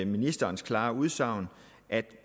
ministerens klare udsagn at